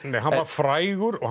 hann var frægur og